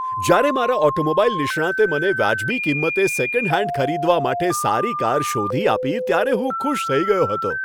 જ્યારે મારા ઓટોમોબાઇલ નિષ્ણાતે મને વાજબી કિંમતે સેકન્ડ હેન્ડ ખરીદવા માટે સારી કાર શોધી આપી ત્યારે હું ખુશ થઈ ગયો હતો.